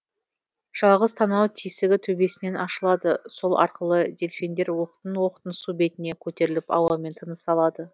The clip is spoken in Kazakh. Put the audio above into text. жалғыз танау тесігі төбесінен ашылады сол арқылы дельфиндер оқтын оқтын су бетіне көтеріліп ауамен тыныс алады